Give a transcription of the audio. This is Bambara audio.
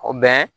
O